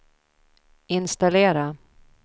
installera